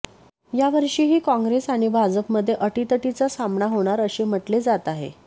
यावर्षीही काँग्रेस आणि भाजपमध्ये अटीतटीचा सामना होणार असे म्हटले जात आहे